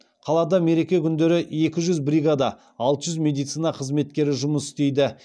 қалада мереке күндері екі жүз бригада алт жүз медицина қызметкері жұмыс істейді